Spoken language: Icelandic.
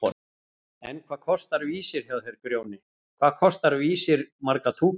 En hvað kostar Vísir hjá þér Grjóni, hvað kostar Vísir marga túkalla?!